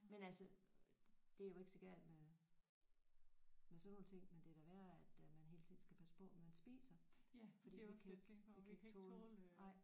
Men altså det er jo ikke så galt med med sådan nogle ting men det er da værre at man hele tiden skal passe på hvad man spiser fordi vi kan ikke vi kan ikke tåle nej